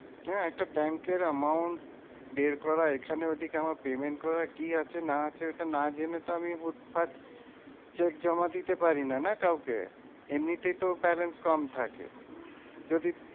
হ্যাঁ একটা ব্যাঙ্কের amount বের করা এখানে ওদিকে আমার payment করার কি আছে? না আছে ওটা না জেনে তো আমি উট ভাট cheque জমা দিতে পারি না না কাউকে? এমনিতেই তো balance কম থাকে। যদি